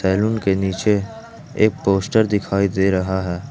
Room के नीचे एक पोस्टर दिखाई दे रहा है।